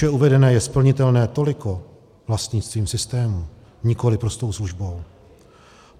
Výše uvedené je splnitelné toliko vlastnictvím systému, nikoli prostou službou.